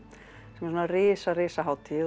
sem er risa risa hátíð